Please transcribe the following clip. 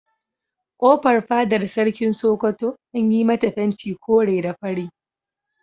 Kofar fadar Sarkin Sokoto an yi mata fenti kore da fari.